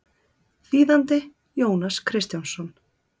Þýðandi Jónas Kristjánsson.